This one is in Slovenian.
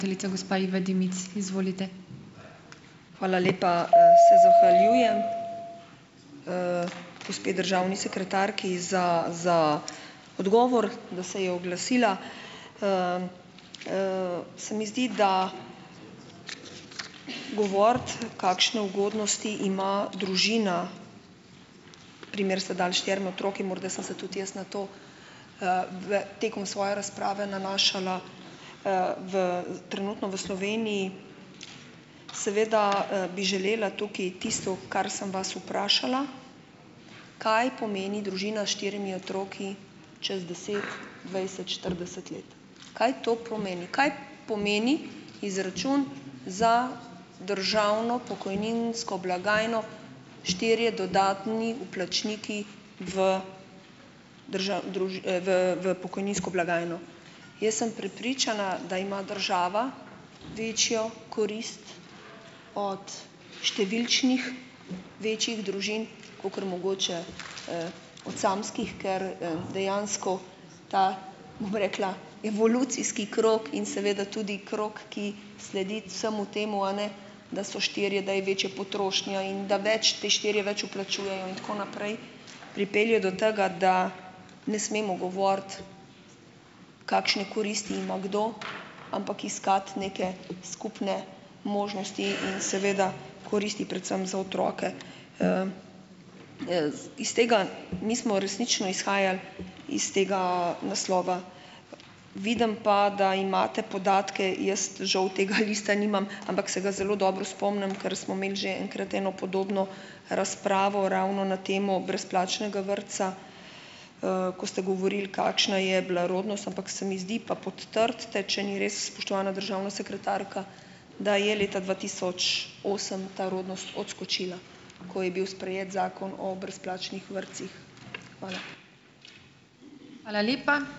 Hvala lepa, se zahvaljujem gospe državni sekretarki za za odgovor, da se je oglasila. Se mi zdi, da govoriti, kakšne ugodnosti ima družina, primer ste dali s štirimi otroki, morda sem se tudi jaz na to, v tekom svoje razprave nanašala, v trenutno v Sloveniji. Seveda, bi želela tukaj tisto, kar sem vas vprašala. Kaj pomeni družina s štirimi otroki čez deset, dvajset, štirideset let? Kaj to pomeni? Kaj pomeni izračun za državno pokojninsko blagajno, štirje dodatni vplačniki v v v pokojninsko blagajno? Jaz sem prepričana, da ima država večjo korist od številčnih večjih družin, kakor mogoče, od samskih, ker, dejansko ta, bom rekla, evolucijski krog in seveda tudi krog, ki sledi vsemu temu, a ne, da so štirje, da je večja potrošnja in da več ti štirje več vplačujejo in tako naprej, pripelje do tega, da ne smemo govoriti, kakšne koristi ima kdo, ampak iskati neke skupne možnosti in seveda koristi predvsem za otroke. Iz tega mi smo resnično izhajali iz tega naslova, vidim pa, da imate podatke, jaz žal tega lista nimam, ampak se ga zelo dobro spomnim, ker smo imeli že enkrat eno podobno razpravo ravno na temo brezplačnega vrtca, ko ste govorili, kakšna je bila rodnost, ampak se mi zdi, pa potrdite, če ni res, spoštovana državna sekretarka, da je leta dva tisoč osem ta rodnost odskočila, ko je bil sprejet zakon o brezplačnih vrtcih. Hvala.